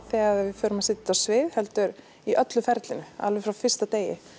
þegar við förum að setja þetta á svið heldur í öllu ferlinu alveg frá fyrsta degi